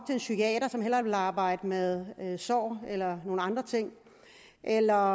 en psykiater som hellere ville arbejde med sår eller nogle andre ting eller